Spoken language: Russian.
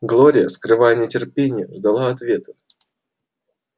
глория скрывая нетерпение ждала ответа